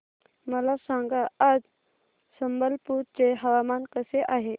मला सांगा आज संबलपुर चे हवामान कसे आहे